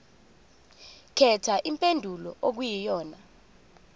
khetha impendulo okuyiyona